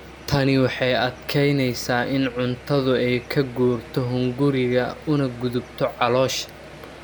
Tani waxay adkeyneysaa in cuntadu ay ka guurto hunguriga una gudubto caloosha.